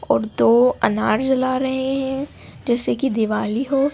और दो अनार जला रहे हैं जैसे की दिवाली हो।